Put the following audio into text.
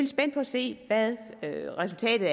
spændt på at se hvad resultatet